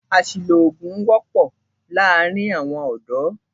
Àṣìlò oògùn wọ́pọ́ láàárín àwọn ọ̀dọ́.